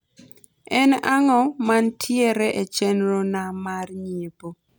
en ang`o mantiere e chenro na mar nyiepo